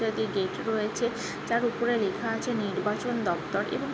তাদের গেট রয়েছে। তার উপরে লেখা আছে নির্বাচন দপ্তর। এবং --